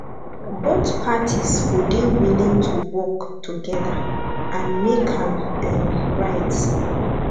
both parties go dey willing to work together and make am um right